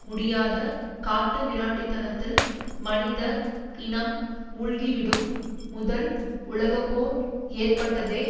முடியாத காட்டுமிராண்டித்தனத்தில் மனித இனம் மூழ்கிவிடும் முதல் உலக போர் ஏற்பட்டதே